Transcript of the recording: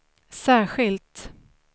särskilt